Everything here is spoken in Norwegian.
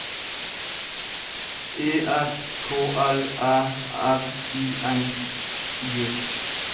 E R K L Æ R I N G